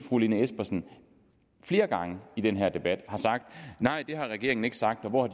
fru lene espersen flere gange i den her debat har sagt nej det har regeringen ikke sagt og hvor har